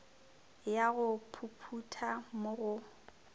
ya go phuphutha mo go